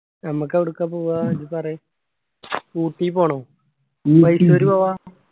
ഞമ്മക്ക് എവിടുക്കാ പോവാ ഇജ്ജ് പറയി ഊട്ടി പോണോ?